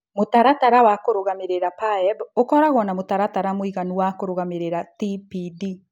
Mũtaratara wa PAEB ũkoragwo na mũtaratara mũiganu wa kũrũgamĩrĩra mũrimũ wa TPD.